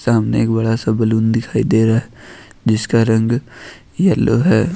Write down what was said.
सामने एक बड़ा सा बैलून दिखाई दे रहा है जिसका रंग येलो है।